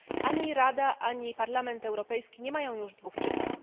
Ani Rada, ani Parlament Europejski nie mają już dwóch czytań.